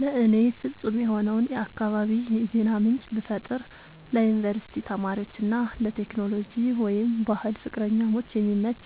ለእኔ ፍጹም የሆነውን የአካባቢ የዜና ምንጭ ብፈጥር ለዩኒቨርሲቲ ተማሪዎች እና ለቴክኖሎጂ/ባህል ፍቅረኞች የሚመች፣